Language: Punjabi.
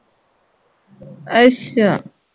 ਅੱਸ਼ਾ